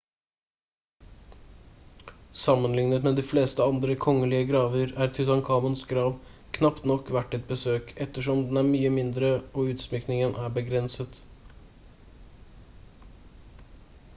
sammenlignet med de fleste andre kongelige graver er tutankhamons grav knapt nok verdt et besøk ettersom den er mye mindre og utsmykningen er begrenset